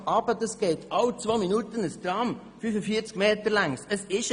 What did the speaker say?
Dies würde bedeuten, dass alle zwei Minuten ein 45 Meter langes Tram fährt!